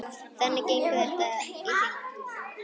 Þannig gengur þetta í hring.